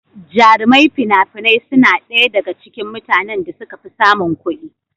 Jarumai fina-finai suna ɗaya daga cikin mutanen da suka fi samun kuɗi.